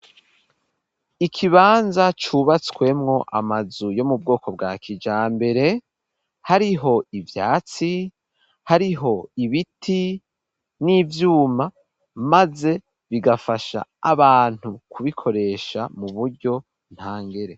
Ikibanza cubatswemo amazu yo mu bwoko bwa kijambere hariho ivyatsi hariho ibiti n'ivyuma maze bigafasha abantu kubikoresha mu buryo ntangere.